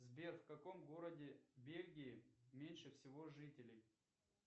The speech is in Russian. сбер в каком городе бельгии меньше всего жителей